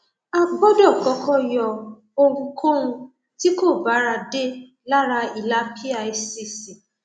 a gbọdọ kọkọ yọ ohunkóun tí kò báradé lára ìlà picc